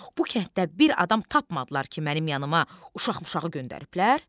Bu kənddə bir adam tapmadılar ki, mənim yanıma uşaq-muşaqı göndəriblər?